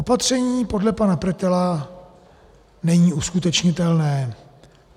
Opatření podle pana Pretela není uskutečnitelné.